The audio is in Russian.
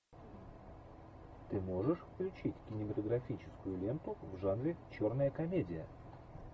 ты можешь включить кинематографическую ленту в жанре черная комедия